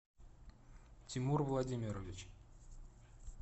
тимур владимирович